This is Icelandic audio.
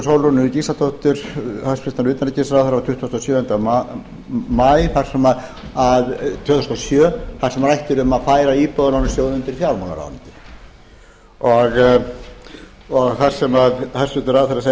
sólrúnu gísladóttur hæstvirts utanríkisráðherra frá tuttugasta og sjöunda maí tvö þúsund og sjö þar sem rætt er um að færa íbúðalánasjóð undir fjármálaráðuneytið og það sem hæstvirtur ráðherra segir það er